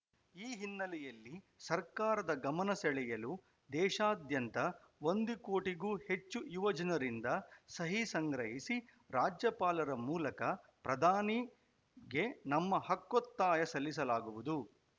ಈ ಹಿನ್ನೆಲೆಯಲ್ಲಿ ಸರ್ಕಾರದ ಗಮನ ಸೆಳೆಯಲು ದೇಶಾದ್ಯಂತ ಒಂದು ಕೋಟಿಗೂ ಹೆಚ್ಚು ಯುವ ಜನರಿಂದ ಸಹಿ ಸಂಗ್ರಹಿಸಿ ರಾಜ್ಯಪಾಲರ ಮೂಲಕ ಪ್ರಧಾನಿ ಗೆ ನಮ್ಮ ಹಕ್ಕೊತ್ತಾಯ ಸಲ್ಲಿಸಲಾಗುವುದು